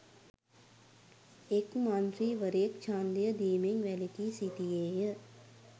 එක් මන්ත්‍රීවරයෙක් ඡන්දය දීමෙන් වැළකී සිටියේය